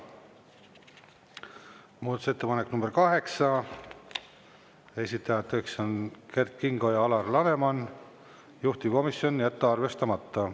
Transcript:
Muudatusettepanek nr 8, esitajateks on Kert Kingo ja Alar Laneman, juhtivkomisjon: jätta arvestamata.